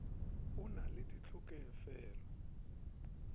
na ke na le ditlhokofele